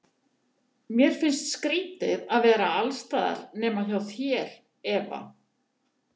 Mér finnst skrýtið að vera alls staðar nema hjá þér, Eva.